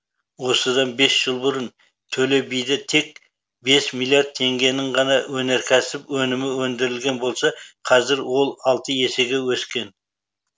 осыдан бес жыл бұрын төле биде тек бес миллиард теңгенің ғана өнеркәсіп өнімі өндірілген болса қазір ол алты есеге өскен